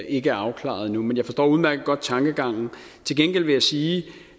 ikke er afklaret endnu men jeg forstår udmærket godt tankegangen til gengæld vil jeg sige